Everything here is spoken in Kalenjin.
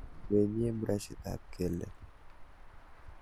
Menyee brashitab kelek.